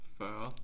40